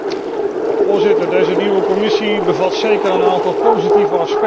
Voorzitter, deze nieuwe Commissie heeft zeker een aantal positieve aspecten.